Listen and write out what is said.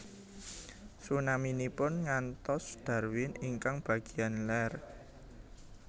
Tsunaminipun ngantos Darwin ingkang bagian ler